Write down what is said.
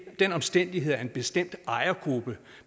den omstændighed at en bestemt ejergruppe